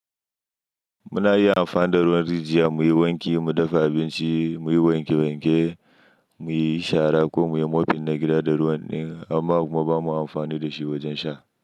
Muna iya amfani da ruwan rijiya muyi wanki, mu dafa abinci, muyi wanke wanke, muyi shara ko muyi mopping na gida da ruwan ne amma kuma bamu amfani da shi wajen sha.